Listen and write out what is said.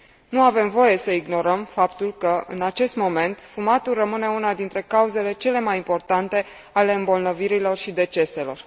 Nu avem voie să ignorăm faptul că, în acest moment, fumatul rămâne una dintre cauzele cele mai importante ale îmbolnăvirilor și deceselor.